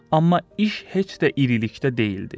Amma iş heç də irilikdə deyildi.